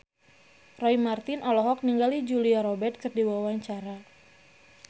Roy Marten olohok ningali Julia Robert keur diwawancara